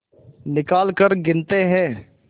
निकालकर गिनते हैं